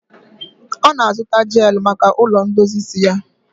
Ọ na-azụta jeelụ maka ụlọ ndozi isi ya.